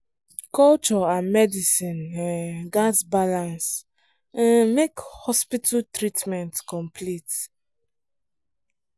culture and medicine um gats balance um make hospital treatment complete.